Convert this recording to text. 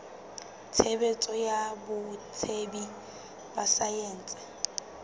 tshebetso ya botsebi ba saense